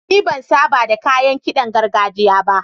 Ni ban saba da kayan ƙidan gargajiya ba.